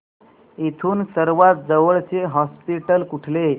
इथून सर्वांत जवळचे हॉस्पिटल कुठले